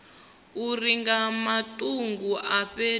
uri nga matungo a fhethu